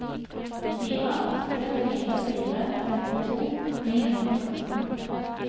fire åtte fire fire femtito ni hundre og fjorten